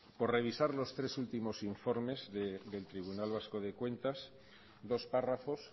por revisar los tres últimos informes del tribunal vasco de cuentas dos párrafos